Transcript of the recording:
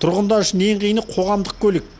тұрғындар үшін ең қиыны қоғамдық көлік